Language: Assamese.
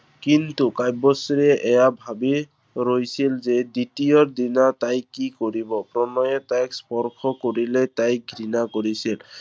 কিন্তু কাব্যশ্ৰীয়ে এইয়া ভাবি ৰৈছিল যে দ্বিতীয় দিনা তাই কি কৰিব। প্ৰণয়ে তাইক স্পৰ্শ কৰিলে তাই ঘৃণা কৰিছিল।